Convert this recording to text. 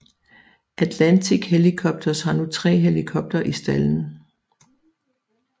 Atlantic Helicopters har nu tre helikoptere i stalden